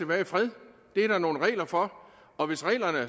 være i fred det er der nogle regler for og hvis reglerne